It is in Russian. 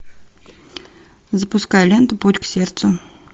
запускай ленту путь к сердцу